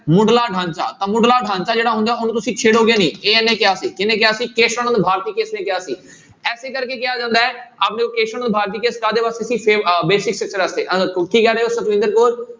ਮੁੱਢਲਾ ਢਾਂਚਾ ਤਾਂ ਮੁੱਢਲਾ ਢਾਂਚਾ ਜਿਹੜਾ ਹੁੰਦਾ, ਉਹਨੂੰ ਤੁਸੀਂ ਛੇੜੋਗੇ ਨਹੀਂ ਇਹ ਇਹਨੇ ਕਿਹਾ ਸੀ, ਕਿਹਨੇ ਕਿਹਾ ਸੀ ਕੇਸਵ ਨੰਦ ਭਾਰਤੀ case ਨੇ ਕਿਹਾ ਸੀ ਇਸੇ ਕਰਕੇ ਕਿਹਾ ਜਾਂਦਾ ਹੈ ਨੂੰ ਭਾਰਤੀ case ਕਾਹਦੇ ਵਾਸਤੇ ਸੀ ਸੇ~ ਅਹ basic structure ਵਾਸਤੇ ਅਹ ਕੀ ਕਹਿ ਰਹੇ ਹੋ ਸੁਖਵਿੰਦਰ ਕੌਰ।